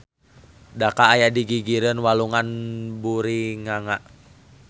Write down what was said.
Dhaka aya di gigireun Walungan Buriganga.